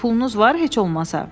Bəs pulunuz var heç olmasa?